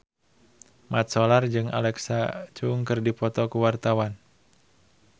Mat Solar jeung Alexa Chung keur dipoto ku wartawan